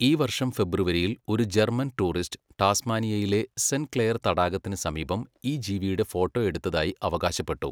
ഈ വർഷം ഫെബ്രുവരിയിൽ, ഒരു ജർമ്മൻ ടൂറിസ്റ്റ് ടാസ്മാനിയയിലെ സെന്റ് ക്ലെയർ തടാകത്തിന് സമീപം ഈ ജീവിയുടെ ഫോട്ടോ എടുത്തതായി അവകാശപ്പെട്ടു.